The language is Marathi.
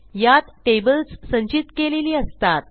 यातtables संचित केलेली असतात